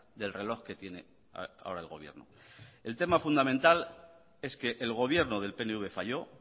del reloj que tiene ahora el gobierno el tema fundamental es que el gobierno del pnv falló